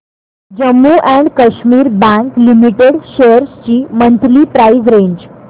Jammu and Kashmir bank limited shares ची monthly price range